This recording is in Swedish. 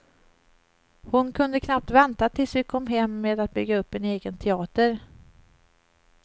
Hon kunde knappt vänta tills vi kom hem med att bygga upp en egen teater.